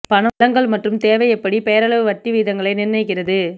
பணம் வழங்கல் மற்றும் தேவை எப்படி பெயரளவு வட்டி விகிதங்களை நிர்ணயிக்கிறது